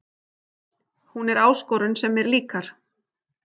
Hún er áskorun sem mér líkar